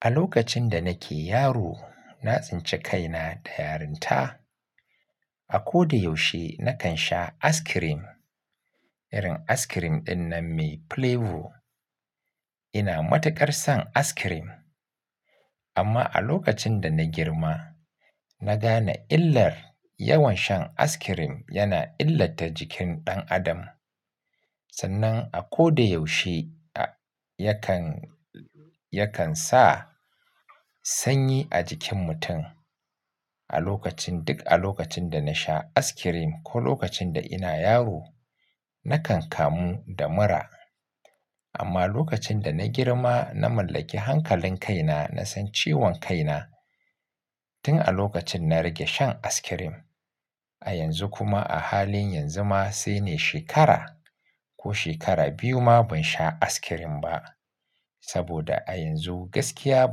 A lokacin da nake yaro, na tsinci kaina da yarinta. A ko da yaushe na kan sha ice-cream. Irin ice-cream dinnan mai flavor. Ina matukar son ice-cream. Amma a lokacin da na girma, na gane illar yawan shan askirim yana illata jikin ɗan adam. Sannan a ko da yaushe yakan, yakan sa sanyi a jikin mutum. A lokacin duk a lokacin da na sha ice-cream ko lokacin da ina yaro, na kan kamu da mura. Amma lokacin da na girma na mallaki hankalin kaina, na san ciwon kaina tun a lokacin na rage shan ice-cream. A yanzu kuma a halin yanzu ma sai ne shekara ko shekara biyu ma ban sha askirim ba. Saboda a yanzu gaskiya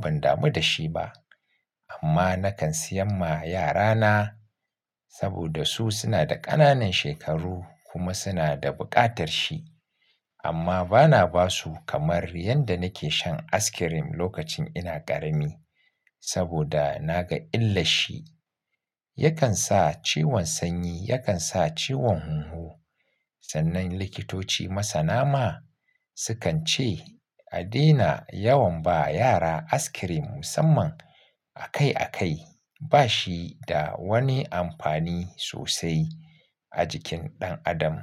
ban damu da shi ba. Amma na kan seyan ma yarana saboda su suna da ƙananan shekaru kuma suna da buƙatar shi. Amma bana ba su kamar yanda nake shan ice-cream lokacin ina ƙarami saboda na ga illar shi. Yakan sa ciwon sanyi, yakan sa ciwon hunhu. Sannan likitoci masa na ma sukan ce a daina yawan ba yara ice-cream musamman akai akai. Ba shi da wani amfani sosai a jikin ɗan adam.